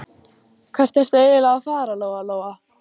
Hvert ertu eiginlega að fara, Lóa Lóa?